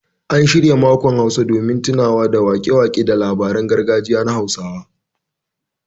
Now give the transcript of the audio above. An shirya makon Hausa domin tunawa da waƙe-waƙe da labaran gargajiya na Hausawa